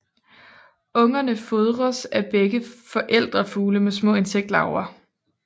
Ungerne fodres af begge forældrefugle med små insektlarver